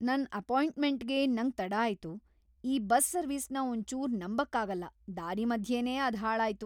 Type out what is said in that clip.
ನನ್ ಅಪಾಯಿಂಟ್ಮೆಂಟ್‌ಗೆ ನಂಗ್ ತಡ ಆಯ್ತು. ! ಈ ಬಸ್ ಸರ್ವಿಸ್ನ ಒಂದ್ ಚೂರು ನಂಬಕ್ ಆಗಲ್ಲ ದಾರಿ ಮದ್ಯೇನೆ ಅದ್ ಹಾಳಾಯ್ತು.